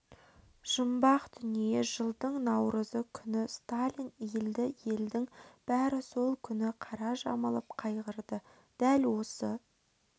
жұмбақ дүние жылдың наурызы күні сталин өлді елдің бәрі сол күні қара жамылып қайғырды дәл осы